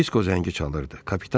Disko zəngi çalırdı.